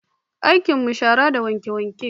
Aikin mu shara da wanke-wanke